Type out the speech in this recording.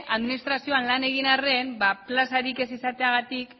administrazioan lan egin harren plazarik ez izateagatik